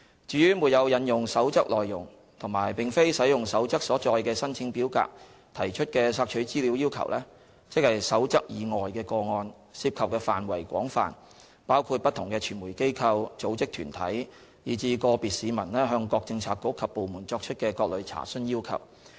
至於沒有引用《守則》內容及並非使用《守則》所載的申請表格提出的索取資料要求，即《守則》以外的個案，涉及範圍廣泛，包括不同的傳媒機構、組織團體以至個別市民向各政策局及部門作出的各類查詢要求。